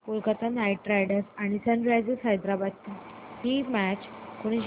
Kolkata Knight Riders आणि Sunrisers Hyderabad ही match कोणी जिंकली